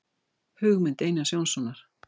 Hugmynd Einars Jónssonar.